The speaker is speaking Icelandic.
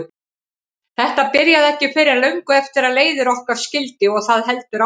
Þetta byrjaði ekki fyrr en löngu eftir að leiðir okkar skildi og það heldur áfram.